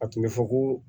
A tun bɛ fɔ ko